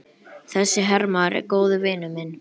Þessi hermaður er góður vinur minn.